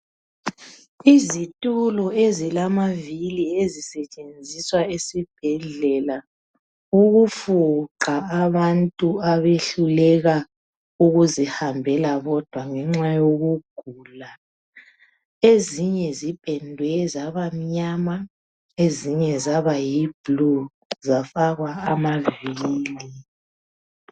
izitulo ezilamavili ezisetshenziswa esibhedlela ukufuqa abantu abehluleka ukuzihambela bodwa ngenxa yokugula ezinye zipendwe zabamnyama zinye zaba yi blue zafakwa amavili